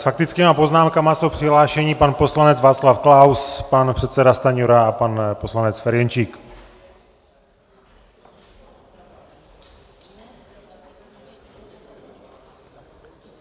S faktickými poznámkami jsou přihlášeni pan poslanec Václav Klaus, pan předseda Stanjura a pan poslanec Ferjenčík.